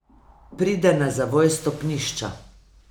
Pride na zavoj stopnišča.